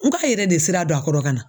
N k'a yɛrɛ de sira don a kɔrɔ ka na.